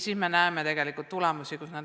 Nüüd me näeme, mis on tegelikult saanud.